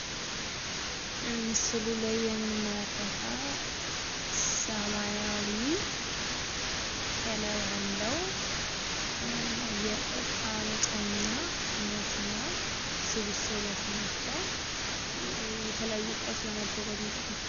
ምስሉ ላይ የምንመለከተው ሰማያዊ ከላይ አለው። የእቃ መጫኛ መኪና ስብስቦች ናቸዉ። የተለያዩ እቃዎች ለማጓጓዝ ይጠቅማል።